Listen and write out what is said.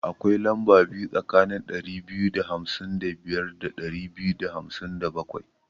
Akwai lamba biyu tsakanin ɗari biyu da hamsin da biyar da ɗari biyu da hamsin da bakwai.